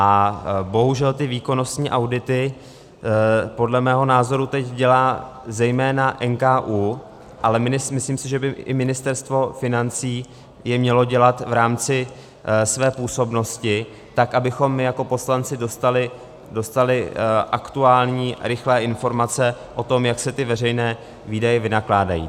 A bohužel ty výkonnostní audity podle mého názoru teď dělá zejména NKÚ, ale myslím si, že by i Ministerstvo financí je mělo dělat v rámci své působnosti, tak abychom my jako poslanci dostali aktuální, rychlé informace o tom, jak se ty veřejné výdaje vynakládají.